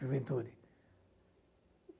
Juventude.